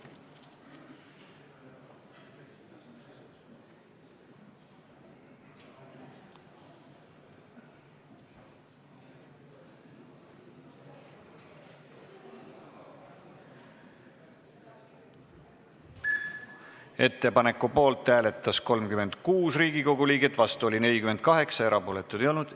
Hääletustulemused Ettepaneku poolt hääletas 36 Riigikogu liiget, vastu oli 48, erapooletuid ei olnud.